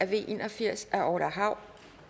v en og firs af orla hav